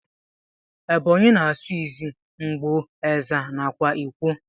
Ebonyi na asụ izzi, ngbo, ezza, nakwa ikwo.